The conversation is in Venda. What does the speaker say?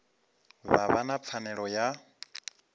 vha vha na pfanelo ya